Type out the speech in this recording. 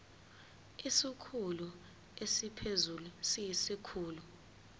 isikhulu esiphezulu siyisikhulu